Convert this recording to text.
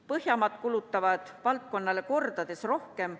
Põhjamaad kulutavad valdkonnale kordades rohkem.